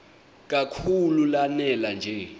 kakhulu lanela nje